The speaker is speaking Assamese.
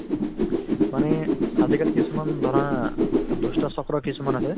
মানে আজিকালি কিছুমান ধৰা, দুষ্টচক্ৰ কিছুমান আছে